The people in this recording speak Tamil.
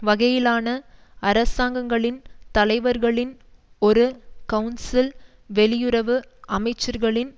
வகையிலான அரசாங்கங்களின் தலைவர்களின் ஒரு கவுன்சில் வெளியுறவு அமைச்சர்களின்